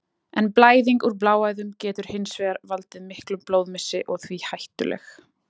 En blæðing úr bláæðum getur hins vegar valdið miklum blóðmissi og því hættuleg.